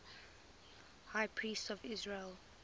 high priests of israel